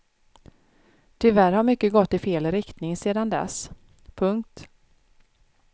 Tyvärr har mycket gått i fel riktning sedan dess. punkt